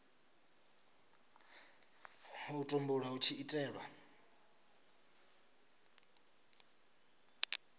u tumbulwa hu tshi itelwa